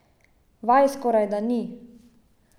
Vaj skorajda ni.